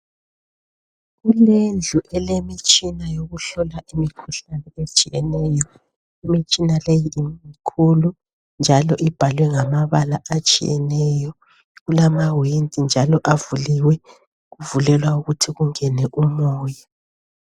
Indlu elemtshina yokuhlola imikhuhlane etshiyeneyo. Imtshina le imkhulu njalo ibhalwe ngamabala atshiyeneyo, kulamawindi njalo avuliwe kuvulelwa ukuthi kungene umoya.